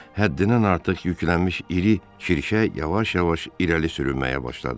Həddindən artıq yüklənmiş iri kirşə yavaş-yavaş irəli sürünməyə başladı.